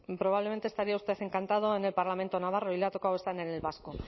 probablemente estaría usted encantado en el parlamento navarro y le ha tocado estar en el vasco